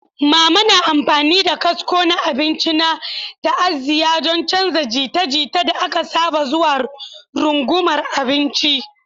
Mama na amfani da kasko na abinci na ta'aziyya don canza jita-jita da aka saba zuwa rungumar abinci.